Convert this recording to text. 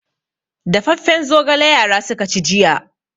Dafaffen zogala yara suka ci jiya.